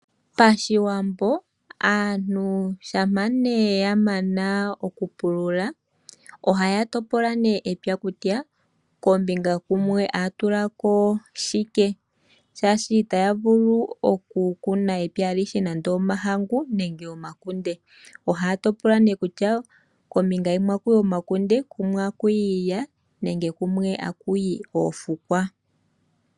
Pashiwambo aantu shampa ya mana okupulula, ohaya topola nee epya kutya kombinga yimwe otaya tula ko shike shaashi i taya vulu okukuna epya alihe omahangu nenge omakunde sho osho nee haya topola kutya kombinga yimwe otaku yi omakunde, ko kumwe taku yi iilya nenge oofukwa.